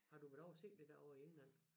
Har du været ovre og se det herovre i England